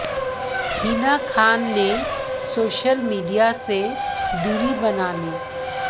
हिना खान ने social media से दूरी बना ली